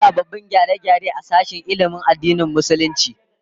An yi sababbin gyare-gyare a sashen ilmin addinin Musulunci